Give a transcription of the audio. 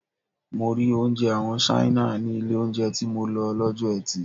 Mo rí oúnjẹ àwọn Ṣáínà ní ilé oúnjẹ tí mo lọ lọ́jọ́ eti.